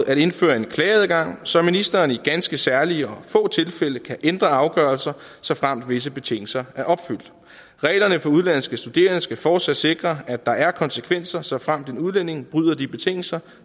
at indføre en klageadgang så ministeren i ganske særlige og få tilfælde kan ændre afgørelser såfremt visse betingelser er opfyldt reglerne for udenlandske studerende skal fortsat sikre at der er konsekvenser såfremt en udlænding bryder de betingelser